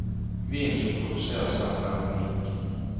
Vinen som produseres her, er unik.